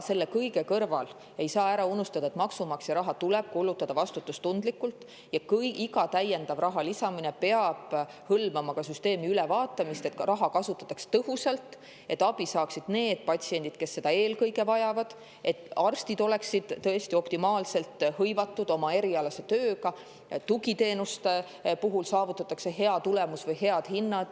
Selle kõige kõrval ei saa ära unustada, et maksumaksja raha tuleb kulutada vastutustundlikult ja iga täiendava raha peab hõlmama ka süsteemi ülevaatamist, et raha kasutataks tõhusalt, et abi saaksid need patsiendid, kes seda eelkõige vajavad, et arstid oleksid optimaalselt hõivatud oma erialase tööga ja tugiteenuste puhul saavutataks hea tulemus või head hinnad.